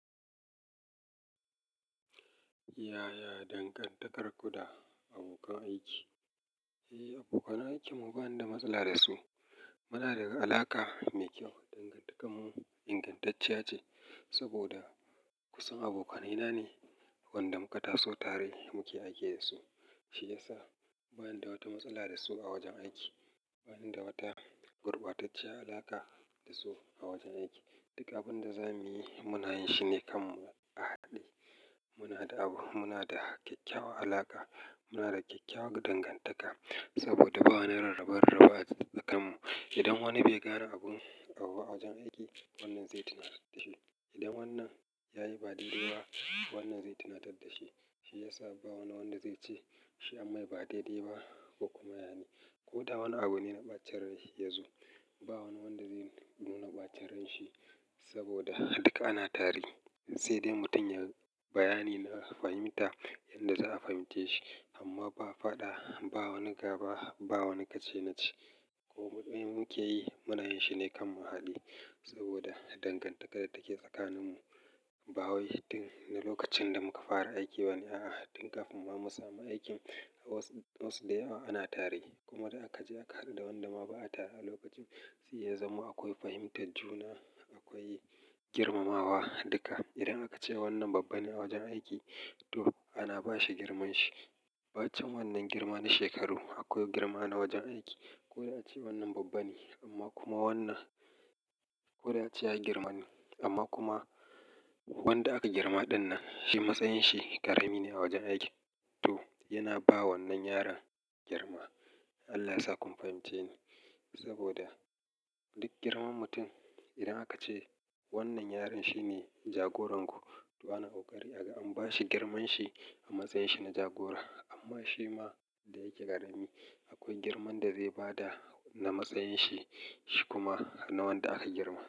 Yaya dangantakarku da abokan aiki? Eh, aboka nan su bani da matsala da su. Muna da alaka mai kyau. Dangantakar mu ingantacce ce saboda kusan abokanaina ne, wanda muka taso tare muke aiki da su. Shi ya sa bani da wata matsala da su a wajen aiki. Bani da wata gurbatacciyar alaka da su a wajen aiki. Duka abin da zamuyi muna yin shi ne kan mu a hade. Muna da abu, muna da kyakkyawar alaka. Muna da kyakkyawar dangantaka saboda ba wani rarrabar raba tsakaninmu. Idan wani bai gara abun abu a wajen aiki, wannan zai tunatar da shi. Idan wannan yayi ba daidai ba, wannan zai tunatar da shi. Shi ya sa ba wanda zai ce shi amma ba daidai ba ko kuma yane. Ko da wani abu ne na ɓacin rai yazo, ba wani wanda zai nuna ɓacere shi saboda duka ana tare. Sai dai mutum yai bayani na fahimta yanda za'a fahimtace shi amma ba fada, ba wani gaba, ba wani kace na ce. Kome muke yi muna yin shi ne kan muhalli saboda dangantakar da take tsakaninmu ba wai fitin na lokacin da muka fara aiki bane a'a. Tun kafin ba mu samu aikin, wasu da yawa ana tare. Kuma idan aka je aka haɗu da wanda ma ba a tare a lokacin, sai ya zama akwai fahimtar juna, akwai girmamawa duka. Idan aka ce wannan babba ne a wajen aiki to ana bashi girmanshi. Ba can wannan girma na shekaru, akwai girma na wajen aiki. Ko da ace wannan babba ne amma kuma wannan, ko da ace ya girma ne amma kuma wanda aka girma ɗannan shi matsayin shi ƙarami ne a wajen aiki to yana ba wannan yaron girma. Allah sa kun fahimce ni saboda duk girman mutum idan aka ce wannan yaron shine jagoran ku, ba na ƙari aka an bashi girmanshi a matsayin shi na jagora amma shi ma da yake ƙarami akwai girman da zai bada na matsayin shi kuma na wanda aka girma.